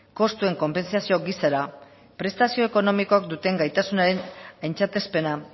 kostuen konpentsazio gisara prestazio ekonomikoak duten gaitasunaren aintzatespena